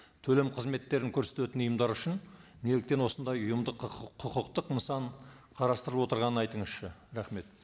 төлем қызметтерін көрсететін ұйымдар үшін неліктен осындай ұйымдық құқықтық нысан қарастырылып отырғанын айтыңызшы рахмет